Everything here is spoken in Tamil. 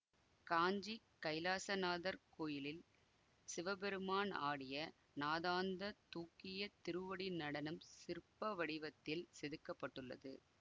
காஞ்சி கைலாசநாதர் கோயிலில் சிவபெருமான் ஆடிய நாதாந்த தூக்கிய திருவடி நடனம் சிற்பவடிவத்தில் செதுக்க பட்டுள்ளது